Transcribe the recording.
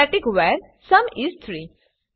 static var sum is 3